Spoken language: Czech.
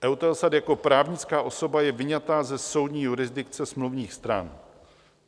EUTELSAT jako právnická osoba je vyňata ze soudní jurisdikce smluvních stran.